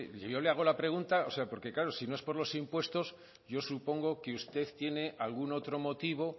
yo le hago la pregunta porque claro si no es por los impuestos yo supongo que usted tiene algún otro motivo